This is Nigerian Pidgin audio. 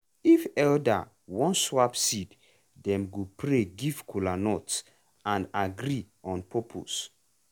if elder wan swap seed dem go pray give kola nut and agree on purpose.